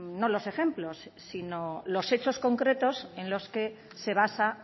no los ejemplos sino los hechos concretos en los que se basa